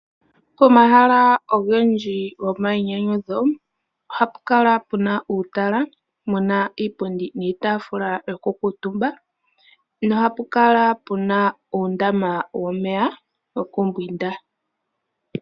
Komahala ogendji gomainyanyudho ohapu kala puna uutala, muna iipundi niitaafula yoku kuutumba nohapu kala puna uundama womeya gokumbwinda.